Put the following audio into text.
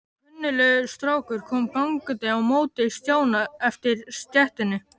Kunnuglegur strákur kom gangandi á móti Stjána eftir stéttinni.